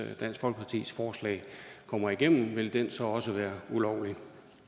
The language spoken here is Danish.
dansk folkepartis forslag kommer igennem vil den så også være ulovlig